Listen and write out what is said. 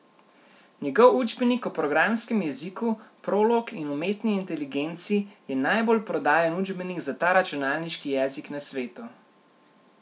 Njegov učbenik o programskem jeziku prolog in umetni inteligenci je najbolj prodajan učbenik za ta računalniški jezik na svetu.